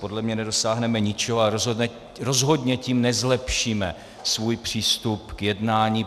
Podle mě nedosáhneme ničeho a rozhodně tím nezlepšíme svůj přístup k jednání.